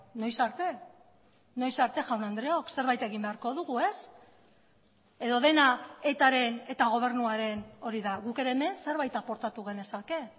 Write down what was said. noiz arte noiz arte jaun andreok zerbait egin beharko dugu ez edo dena etaren eta gobernuaren hori da guk ere hemen zerbait aportatu genezake